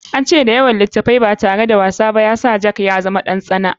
An ce da yawa littafi ba tare da wasa ba ya sa jack ya zama ɗan tsana.